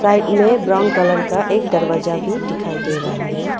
मे brown colour का एक दरवाजा भी डिखाई डे रहा है।